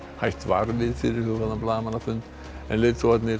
hætt var við fyrirhugaðan blaðamannafund en leiðtogarnir